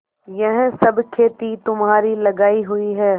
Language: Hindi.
यह सब खेती तुम्हारी लगायी हुई है